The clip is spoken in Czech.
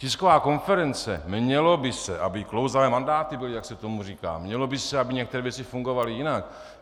Tisková konference: mělo by se, aby klouzavé mandáty byly, jak se tomu říká, mělo by se, aby některé věci fungovaly jinak.